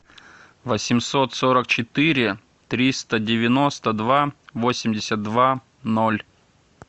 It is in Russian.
восемьсот сорок четыре триста девяносто два восемьдесят два ноль